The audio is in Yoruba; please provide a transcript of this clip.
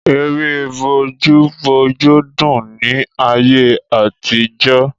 Ère bójú bójú dùn ni ayé àtijọ́.